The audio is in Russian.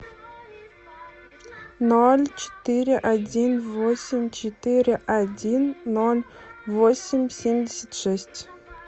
ноль четыре один восемь четыре один ноль восемь семьдесят шесть